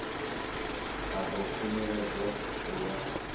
a ḓo khunyeledzwa u ya